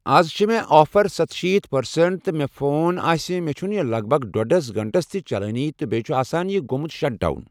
اَز چھِ مےٚ آفر سَتہٕ شیٖتھ پٔرسنٛٹ تہِ مےٚ فون آسہِ مےٚ چھُنہٕ یہِ لگ بگ ڈۄڈس گنٹس تہِ چلنٕے تہٕ بیٖیٚہِ چھُ آسان یہِ گوٚمُت شٹ ڈاوُن۔